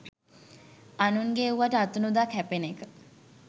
අනුන්ගෙ එව්වට අතනොදා කැපෙන එක